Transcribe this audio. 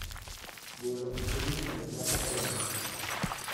Golo oko lum mondo cham odongi